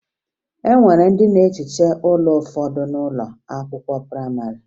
E nwere ndị na-ehiche ụlọ n'ụfọdụ ụlọ akwụkwọ prayịmarị